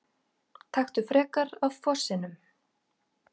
Taktu frekar af fossinum!